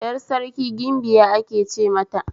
Yar Sarki gimbiya ake ce mata